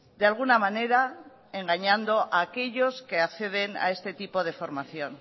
de alguna manera engañando a aquellos que acceden a este tipo de formación